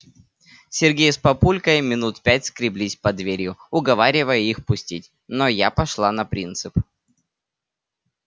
сергей с папулькой минут пять скреблись под дверью уговаривая их пустить но я пошла на принцип